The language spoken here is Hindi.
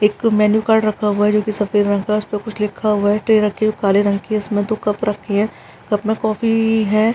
एक मेन्यू कार्ड रखा हुआ है जो कि सफ़ेद रंग का है उस पे कुछ लिखा हुआ है। ट्रे रखी है वो काले रंग की इसमें दो कप रखी है। कप में कॉफ़ी है।